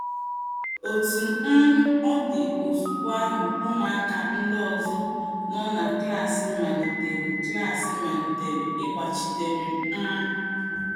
Otú um ọ dị, ozugbo ahụ ụmụaka ndị ọzọ nọ na klas malitere klas malitere ịgbachitere m um. ”